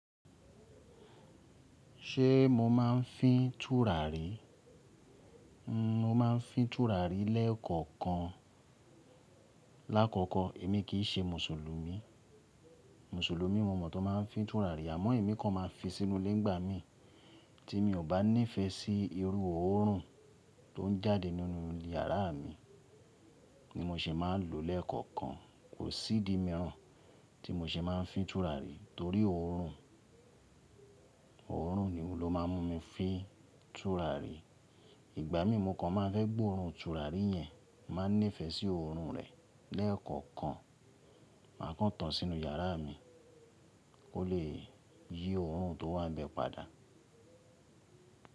Ṣé mo máa ń fín tùràrí? Mo máa ń fín tùràrí lẹ́ẹ̀kọ̀kan. Láàkọ́kọ̀, èmi kì í ṣe Mùsùlùmí. Mùsùlùmí mo mọ̀ tó máa ń fín tùràrí. Àmọ́ èmi kan máa ń fi sínú ilé ńigbà mí tí mi ò bá ní ìfẹ́ sí irú òórùn tó ń jáde nínú iyàrá mi ni mo se máa ń lò lẹ́ẹ̀kọ̀kan. Kò sí idi míràn tí mo ṣe máa ń fín tùràrí torí òórùn, òórùn ni ó máa ń mú mi fín tùràrí. Ìgbà mí mu kan máa ń fẹ́ gbé òórùn tùràrí yẹn, màá ní ìfẹ́ sí òórùn rẹ̀ lẹ́ẹ̀kọ̀kan. Màá kán tán sínú yàrá mi kó lè yí òórùn tó wà bẹ́ẹ̀ padà.